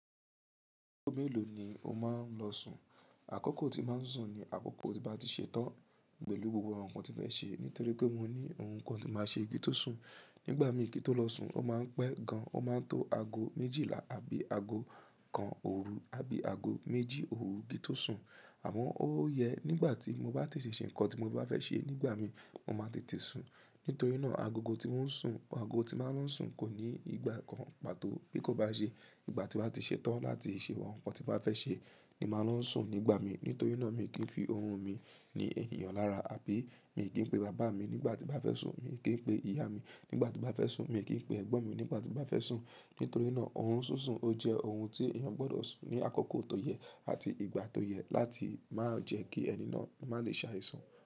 Agọ́ mélòó ni o máa ń lọ sùn? Akokọ̀ tí màá ń sùn ni àkókò tí n bà tí ṣe tán pẹ̀lú gbogbo àwọn nǹkan tí n fẹ ṣe, nítorí pé mo ní oun kan tí n máa ṣe ki n tó sùn. Nígbà mi ki n tó lọ sùn, o máa ń pẹ́ gan, o maa n to ago méjìlá àbí ago kan òru àbí ago méjì òru ki n tó sùn. Àmọ ó yẹ nígbà tí mo bá ti ṣe ṣe nńkan tí mo bá fẹ́ ṣe nígbà mi, mo máa tètè sùn. Ntorí náà agogo tí mò ń sùn, ago tí n bá lọ sùn kò ní ìgbà kan pàtó. Bí kò bá n ṣe ìgbà tí n bá ti ṣe tán láti ṣe won ńnkan tí n bá fẹ́ ṣe ni màá lọ n sùn nígbà mi. Nítorí náà mi kì n fi ohun mi ní ènìyàn lára àbí mi kì n pe bàbá mi nígbà tí n bá fẹ́ sùn, mi kì n pe ìyá mi nígbà tí n bá fẹ́ sùn, mi kì n pe ẹ̀gbọ́n mi nígbà tí n bá fẹ́ sùn. Nítorí náà orun sísun o jẹ́ oun tí èeyàn gbọdọ̀ sùn ní àkókò tó yẹ àti ìgbà tó yẹ láti maá jẹ́ kí ẹni náà máa lè ṣàìsàn.